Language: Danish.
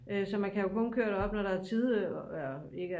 så kan man kun køre op når der er tide ikke